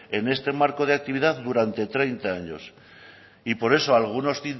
en este marco de actividad durante treinta años y por eso algunos